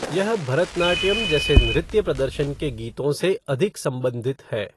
यह भरतनाट्यम जैसे नृत्य प्रदर्शन के गीतों से अधिक संबंधित है।